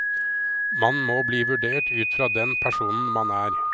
Man må bli vurdert ut fra den personen man er.